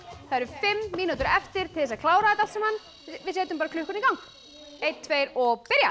fimm mínútur eftir til þess að klára þetta allt saman við setjum bara klukkuna í gang einn tveir og byrja